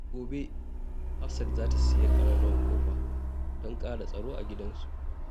Gobe, Hafsat za ta sayi ƙararrawar ƙofa don ƙara tsaro a gidan su.